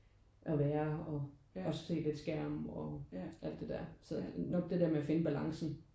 At være og at se lidt skærm og alt det der. Så nok det der med at finde balancen